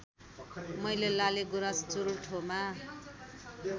मैले लालिगुराँस चुल्ठोमा